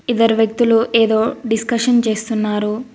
ఇద్దరు వ్యక్తులు ఏదో డిస్కషన్ చేస్తున్నారు.